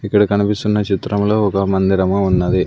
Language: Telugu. ఇక్కడ కనిపిస్తున్న చిత్రంలో ఒక మందిరము ఉన్నది.